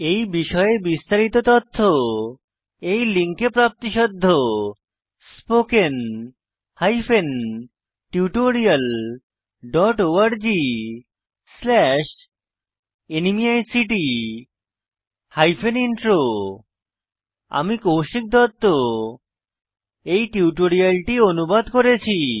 এই বিষয়ে বিস্তারিত তথ্য এই লিঙ্কে প্রাপ্তিসাধ্য httpspoken tutorialorgNMEICT Intro আমি কৌশিক দত্ত এই টিউটোরিয়ালটি অনুবাদ করেছি